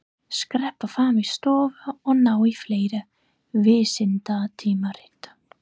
Skreppa fram í stofu og ná í fleiri vísindatímarit.